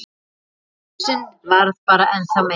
Blúsinn varð bara ennþá meiri.